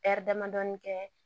damadɔni kɛ